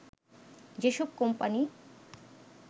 যেসব কোম্পানি